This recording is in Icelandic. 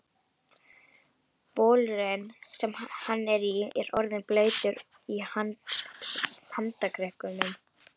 Bolurinn, sem hann er í, er orðinn blautur í handarkrikunum.